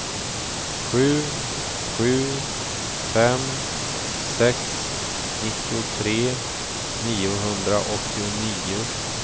sju sju fem sex nittiotre niohundraåttionio